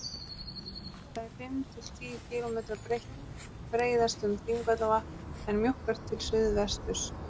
Það er fimm til tíu kílómetra breitt, breiðast um Þingvallavatn, en mjókkar til suðvesturs.